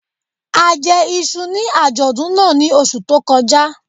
A jẹ iṣu ní àjọ̀dún náà ní oṣù tó kọjá